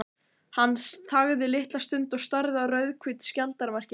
Hann þagði litla stund og starði á rauðhvít skjaldarmerkin.